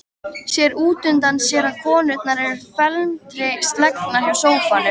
Sér útundan sér að konurnar eru felmtri slegnar hjá sófanum.